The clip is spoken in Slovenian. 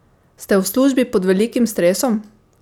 Ste v službi pod velikim stresom?